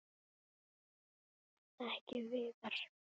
Ekki Viðar.